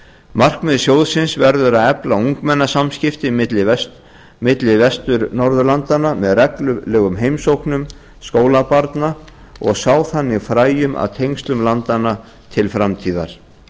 markmið sjóðsins verður að efla ungmennasamskipti milli vestur norðurlandanna með reglulegum heimsóknum skólabarna og sá þannig fræjum að tengslum landanna til framtíðar